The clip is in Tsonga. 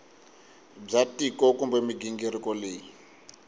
bya tiko kumbe mighingiriko leyi